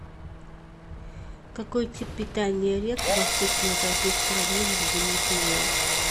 какой тип питания рек восточно европейской равнины в зимний период